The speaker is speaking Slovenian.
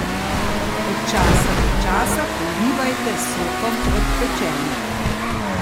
Od časa do časa polivajte s sokom od pečenja.